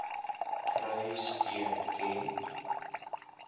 kry steun ken